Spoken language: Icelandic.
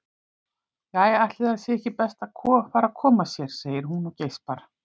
Jæja, ætli það sé ekki best að fara að koma sér, segir hún og geispar.